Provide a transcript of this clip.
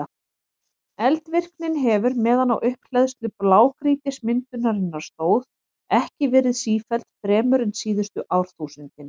Eldvirknin hefur, meðan á upphleðslu blágrýtismyndunarinnar stóð, ekki verið sífelld fremur en síðustu árþúsundin.